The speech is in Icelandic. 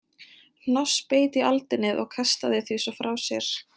Hnoss beit í aldinið og kastaði því svo frá sér.